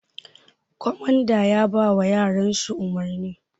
Komanda yabawa yaran shi umurni